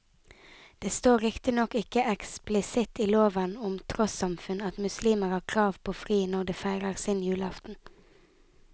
Det står riktignok ikke eksplisitt i loven om trossamfunn at muslimer har krav på fri når de feirer sin julaften.